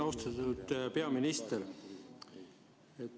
Austatud peaminister!